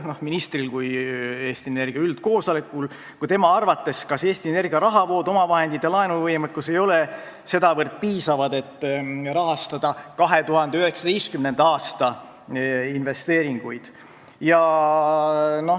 Kas ministri kui Eesti Energia üldkoosoleku arvates ei ole Eesti Energia rahavood, omavahendid ja laenuvõimekus sedavõrd piisavad, et rahastada 2019. aasta investeeringuid?